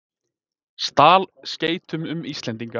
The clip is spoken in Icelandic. Stal skeytum um Íslendinga